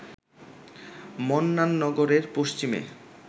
মন্নাননগরের পশ্চিমে